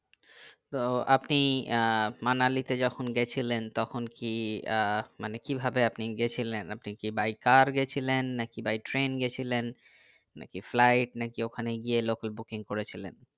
তো আপনি আহ মানালিতে যখন গেছিলেন তখন কি আহ মানে কিভাবে আপনি গেছিলেন আপনি কি by car গেছিলেন নাকি by train গেছিলেন নাকি flight নাকি ওখানে গিয়ে local booking করেছিলেন